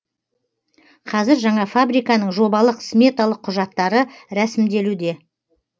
қазір жаңа фабриканың жобалық сметалық құжаттары рәсімделуде